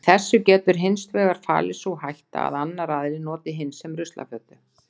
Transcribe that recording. Í þessu getur hins vegar falist sú hætta að annar aðilinn noti hinn sem ruslafötu.